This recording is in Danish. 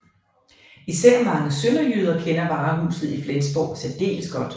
Især mange sønderjyder kender varehuset i Flensborg særdeles godt